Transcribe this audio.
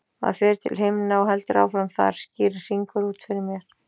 Maður fer til himna og heldur áfram þar, skýrir Hringur út fyrir mér.